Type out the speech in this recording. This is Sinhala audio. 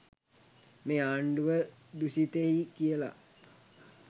මේ ආණ්ඩුව දුශිතෛ කියල